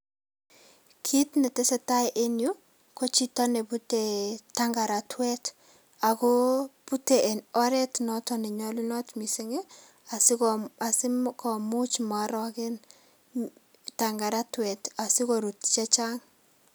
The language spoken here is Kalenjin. kit netesetai en yu ko chito nebute tangorotuet ago bute en oret noton nenyolunot missing' ii asiko asimo asikomuch mooroken tangorotuet asikorut chechang'.